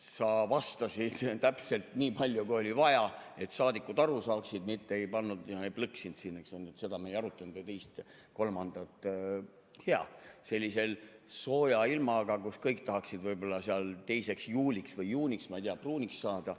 Sa vastasid täpselt nii palju, kui oli vaja, et saadikud aru saaksid, mitte ei plõksinud siin, et seda me ei arutanud või teist ja kolmandat, sellise sooja ilmaga, kus kõik tahaksid 2. juuliks või juuniks, ma ei tea, pruuniks saada.